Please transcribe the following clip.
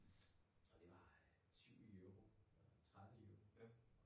Og det var øh 20 euro eller 30 euro